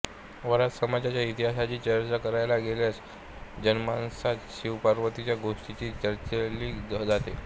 वडार समाजाच्या इतिहासाची चर्चा करायला गेल्यास जनमाणसात शिवपार्वतीची गोष्टीच चर्चीली जाते